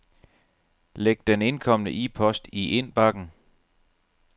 Læg den indkomne e-post i indbakken.